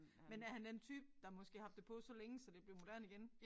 Men er han en type der måske har haft det på så længe at det blevet moderne igen